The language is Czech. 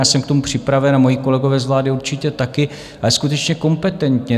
Já jsem k tomu připraven a moji kolegové z vlády určitě také, ale skutečně kompetentně.